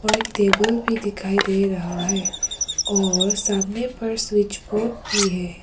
और एक टेबल भी दिखाई दे रहा है और सामने पर स्विच बोर्ड भी है।